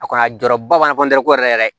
A kɔni a jɔyɔrɔba b'an na ko yɛrɛ yɛrɛ